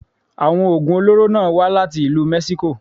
Àwọn Ògùn olóró náà wá láti ìlú Mexico.